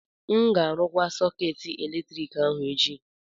M ga-arụkwa sọkeetị eletrik ahụ echi